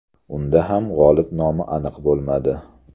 Unda ham g‘olib nomi aniq bo‘lmadi.